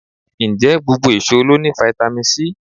Ǹjẹ́ gbogbo èso ló ní fáítámì C?